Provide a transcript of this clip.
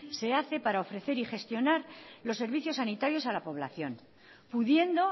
se hace para ofrecer y gestionar los servicios sanitarios a la población pudiendo